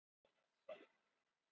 úr hverju er skýjahæðin mæld